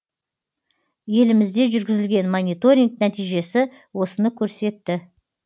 елімізде жүргізілген мониторинг нәтижесі осыны көрсетті